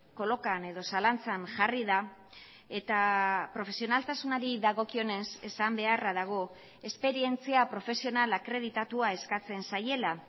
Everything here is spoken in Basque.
kolokan edo zalantzan jarri da eta profesionaltasunari dagokionez esan beharra dago esperientzia profesional akreditatua eskatzen zaiela